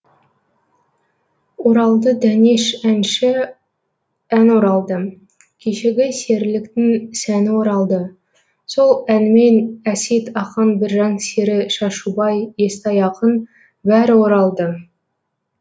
оралды дәнеш әнші ән оралды кешегі серіліктің сәні оралды сол әнмен әсет ақан біржан сері шашубай естай ақын бәрі оралды